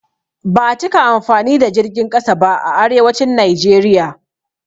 Ba a cika amfani da jirgin ƙasa ba a arewacin Naijeriya.